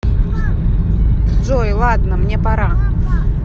джой ладно мне пора